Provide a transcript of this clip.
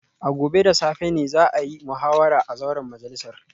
A gobe da safe ne za a yi muhawara a zauren majalisar